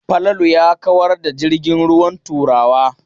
Falalu ya kawar da jirgin ruwan Turawa.